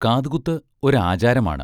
കാതുകുത്ത് ഒരാചാരമാണ്.